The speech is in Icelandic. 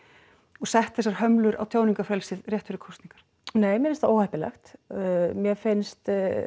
og sett þessar hömlur á tjáningarfrelsið rétt fyrir kosningar nei mér finnst það óheppilegt mér finnst